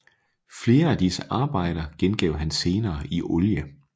Flere af disse arbejder gengav han senere i olie